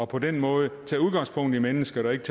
på den måde tager udgangspunkt i mennesket og ikke